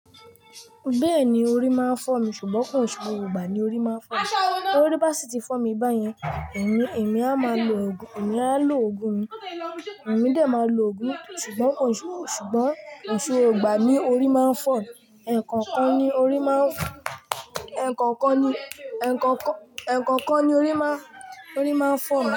Bẹ́ẹ̀ni orí máa ń fọ́ mi, ṣùgbọ́n ko nse gbogbo igbà ní orí máa ń fọ́ mi. Torí bá sì ti fọ́ mi báyẹn, èmi, èmi á máa lo ògùn, èmi á lo ògùn mi, èmi dé máa lo ògùn, ṣùgbọ́n ko nse, ṣùgbọ́n ko n se gbogbo igbà ní orí máa ń fọ́ mi. Ẹ̀ẹ̀kọ̀kan ni orí máa ń, ẹ̀kọ́kan ni, ẹ̀kọ̀kan, ẹ̀kọ̀kan ni orí máa ń, orí máa ń fọ́ mi.